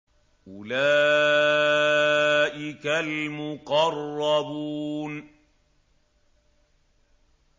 أُولَٰئِكَ الْمُقَرَّبُونَ